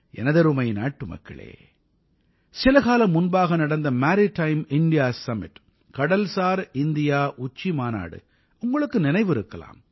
எனதருமை நாட்டுமக்களே சிலகாலம் முன்பாக நடந்த மேரிடைம் இந்தியா சும்மிட் கடல்சார் இந்தியா உச்சிமாநாடு உங்களுக்கு நினைவிருக்கலாம்